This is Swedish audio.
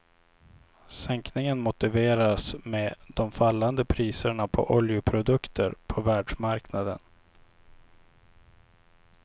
Sänkningen motiveras med de fallande priserna på oljeprodukter på världsmarknaden.